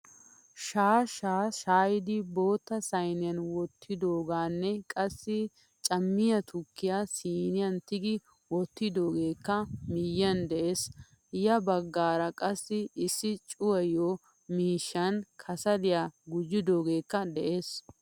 Shaashaa shayidi bootta sayniyan wottidogene qassi camiyaa tukkiya siiniyan tigi wottidogekka miyiyan de'ees. Ya baggaara qassi issi cuwayiyo miishshan kasliya gujjogekka de'ees.